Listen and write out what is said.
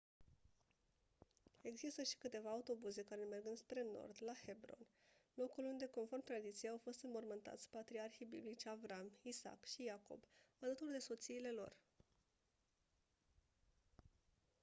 există și câteva autobuze care merg înspre nord la hebron locul unde conform tradiției au fost înmormântați patriarhii biblici avraam isaac și iacob alături de soțiile lor